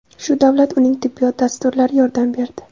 Shu davlat, uning tibbiyot dasturlari yordam berdi.